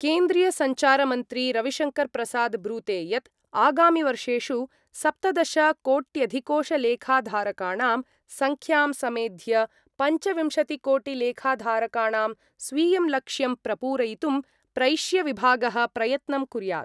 केन्द्रीयसञ्चारमन्त्री रविशङ्करप्रसाद ब्रूते यत् आगामिवर्षेषु सप्तदशकोट्यधिकोषलेखाधारकाणां संख्यां समेध्य पञ्चविंशतिकोटिलेखाधारकाणां स्वीयं लक्ष्यं प्रपूरयितुं प्रैष्यविभागः प्रयत्नं कुर्यात्।